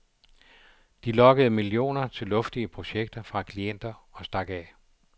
De lokkede millioner til luftige projekter fra klienter og stak af.